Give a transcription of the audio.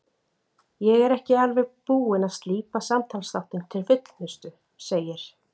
Ég er ekki alveg búinn að slípa samtalsþáttinn til fullnustu, segir